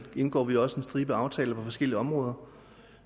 indgår vi også en stribe aftaler på forskellige områder